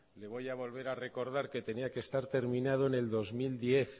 le voy a volver a recordar que tenía que estar terminado en el dos mil diez